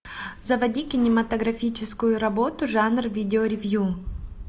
заводи кинематографическую работу жанр видео ревью